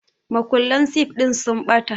Makullan sif ɗin sun ɓata